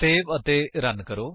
save ਅਤੇ run ਕਰੋ